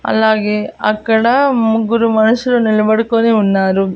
అలాగే అక్కడ ముగ్గురు మనుషులు నిలబడుకొని ఉన్నారు.